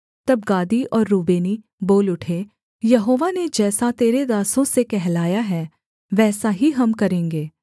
तब गादी और रूबेनी बोल उठे यहोवा ने जैसा तेरे दासों से कहलाया है वैसा ही हम करेंगे